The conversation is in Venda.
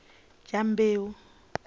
dyambeu